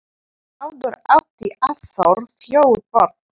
Áður átti Arnþór fjögur börn.